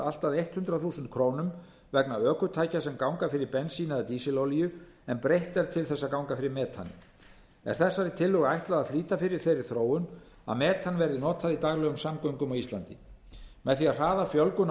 allt að hundrað þúsund krónur vegna ökutækja sem ganga fyrir bensíni eða dísilolíu en breytt er til þess að ganga fyrir metani er þessari tillögu ætlað að flýta fyrir þeirri þróun að metan verði notað í daglegum samgöngum á íslandi með fjölga hratt